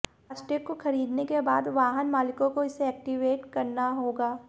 फास्टेग को खरीदने के बाद वाहन मालकों को इसे एक्टिवेट करना होगा